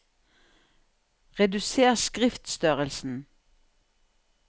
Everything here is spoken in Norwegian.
Reduser skriftstørrelsen